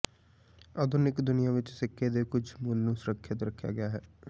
ਆਧੁਨਿਕ ਦੁਨੀਆ ਵਿੱਚ ਸਿੱਕੇ ਦੇ ਕੁਝ ਮੁੱਲ ਨੂੰ ਸੁਰੱਖਿਅਤ ਰੱਖਿਆ ਗਿਆ ਹੈ